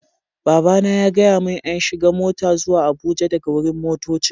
Baba na ya gaya mun n'shiga mota zuwa Abuja daga wurin motoccin.